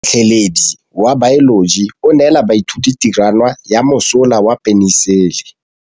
Motlhatlhaledi wa baeloji o neela baithuti tirwana ya mosola wa peniselene.